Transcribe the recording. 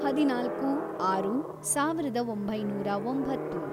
ಹದಿನಾಲ್ಕು, ಆರು, ಸಾವಿರದ ಒಂಬೈನೂರ ಒಂಬತ್ತು